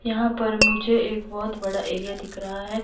यहाँ पर मुझे एक बहुत बड़ा एरिया दिख रहा है।